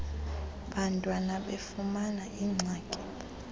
bantwana befumana iingxaki